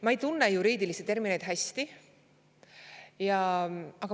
Ma ei tunne juriidilisi termineid hästi.